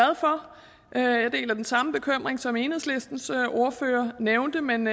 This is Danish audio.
er jeg deler den samme bekymring som enhedslistens ordfører nævnte men